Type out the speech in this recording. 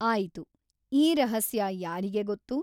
ಆಯಿತು ಈ ರಹಸ್ಯ ಯಾರಿಗೆ ಗೊತ್ತು ?